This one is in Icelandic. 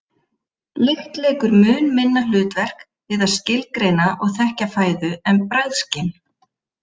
Lykt leikur mun minna hlutverk við að skilgreina og þekkja fæðu en bragðskyn.